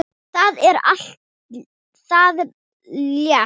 Það er allt það létta.